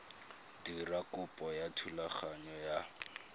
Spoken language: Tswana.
dira kopo ya thulaganyo ya